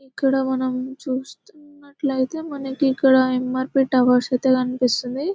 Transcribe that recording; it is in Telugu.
ఇక్కడ మనం చూస్తున్నట్లయితే మనకి ఇక్కడ ఎ.మ్ఆర్ .పి టవర్స్ అయితే కనిపిస్తుంది.